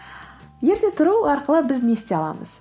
ерте тұру арқылы біз не істей аламыз